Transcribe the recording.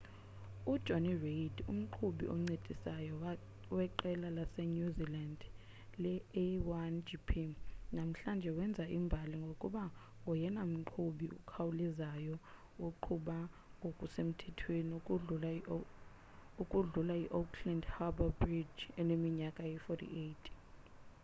ujonny reid umqhubi oncedisayo weqela lasenew zealand le-a1gp namhlanje wenze imbali ngokuba ngoyena mqhubi ukhawulezayo oqhuba ngokusemthethweni ukudlula iauckland harbour bridge eneminyaka eyi-48